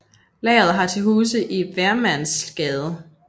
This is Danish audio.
Lageret har til huse i Vermlandsgade